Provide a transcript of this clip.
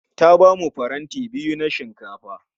Ta bamu faranti biyu na shinkafa